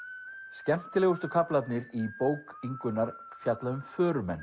skemmtilegustu kaflarnir í bók Ingunnar fjalla um